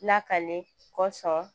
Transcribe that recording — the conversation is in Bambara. Lakale kɔsɔn